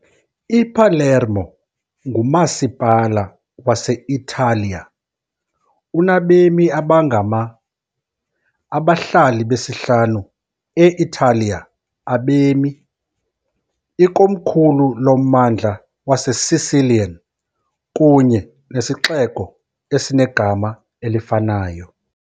I-Palermo ngumasipala wase-Italiya, unabemi abangama-, abahlali besihlanu e-Italiya abemi, ikomkhulu loMmandla waseSicilian kunye nesixeko esinegama elifanayo.